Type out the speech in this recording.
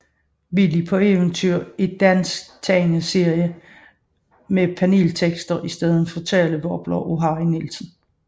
Willy på Eventyr er dansk tegneserie med paneltekster i stedet for talebobler af Harry Nielsen